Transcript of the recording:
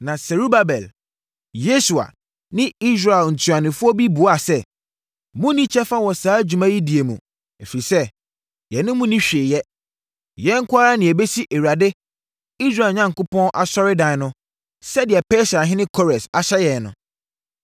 Na Serubabel, Yesua ne Israel ntuanofoɔ bi buaa sɛ, “Monni kyɛfa wɔ saa dwuma yi die mu, ɛfiri sɛ, yɛne mo nni hwee yɛ. Yɛn nko ara na yɛbɛsi Awurade, Israel Onyankopɔn asɔredan no sɛdeɛ Persiahene Kores ahyɛ yɛn no.”